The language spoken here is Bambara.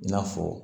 I n'a fɔ